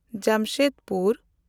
Jamshedpur